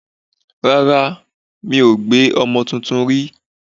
Rárá, mi ò gbé ọmọ tuntun rí.